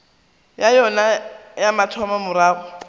ya yona ya mathomo morago